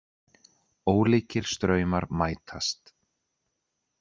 Ólíkir straumar mætast